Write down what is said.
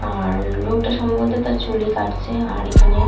আর লোকটা সম্ভবত তার চুল-ই কাটছে আর এখানে।